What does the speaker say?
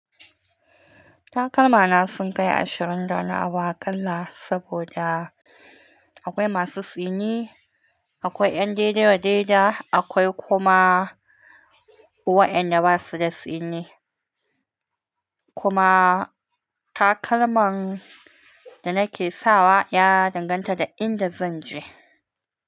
Takalma na sunkai ashirin da wani abu aƙalla saboda, akwai masu tsini, akwai ƴan daidai wa daidai, akwai kuma waƴanda basuda tsini. Kuma takalman da nake sawa ya danganta da inda zan je.